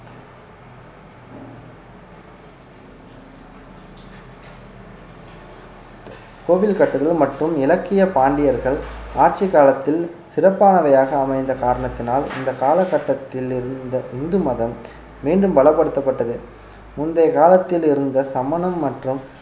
கோவில் கட்டுதல் மற்றும் இலக்கிய பாண்டியர்கள் ஆட்சி காலத்தில் சிறப்பானவையாக அமைந்த காரணத்தினால் இந்த காலகட்டத்தில் இருந்த இந்து மதம் மீண்டும் பலப்படுத்தப்பட்டது முந்தைய காலத்தில் இருந்த சமணம் மற்றும்